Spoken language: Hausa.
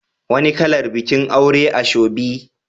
Wani kalar bikin aure asoebi?